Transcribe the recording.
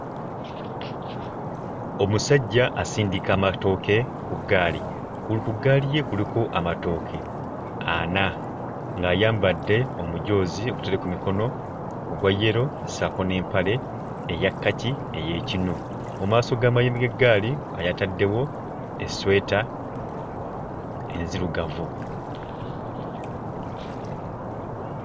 Omusajja asindika amatooke ku ggaali ku ku ggaali ye kuliko amatooke ana ng'ayambadde omujoozi ogutaliiko mikono ogwa yellow ssaako n'empale eya kkaki ey'ekinu, mu maaso g'amayembe g'eggaali yataddewo esweta enzirugavu.